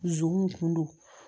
Dusukun kun don